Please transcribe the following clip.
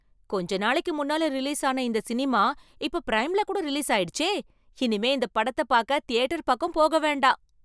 கொஞ்ச நாளைக்கு முன்னால ரிலீஸான இந்த சினிமா இப்ப பிரைம்ல கூட ரிலீஸ் ஆயிடுச்சே! இனிமே இந்த படத்தை பாக்க தியேட்டர் பக்கம் போக வேண்டாம்.